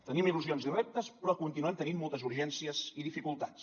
tenim il·lusions i reptes però continuem tenint moltes urgències i dificultats